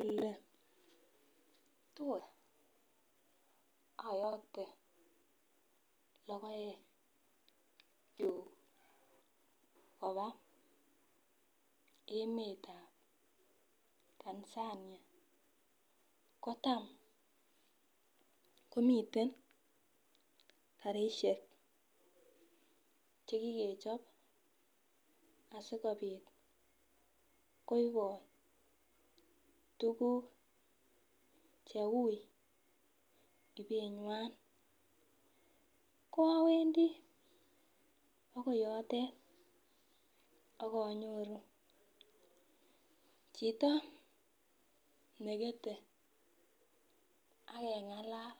Oletot ayoktee logoekyuk kabaa emetab Tanzania kotam komiten karisiek chekikechop asikobit koibot tuguk cheui ibenywan ko awendi akoi yondet akonyoru chito nekete akeng'alal,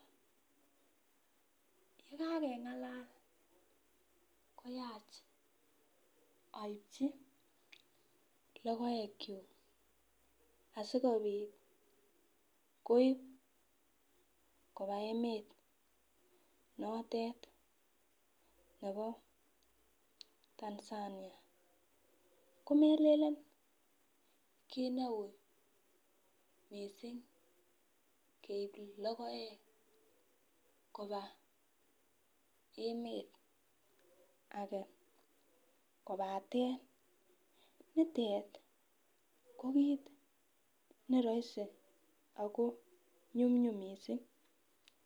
yekakeng'alal koyach aipchi logoekyuk asikobit koip kobaa emet notet ne bo Tanzania ,komelelen kit ne ui missing keip logoek kobaa emet age kobaten nitet ko kit nerahisi ako nyumnyum missing.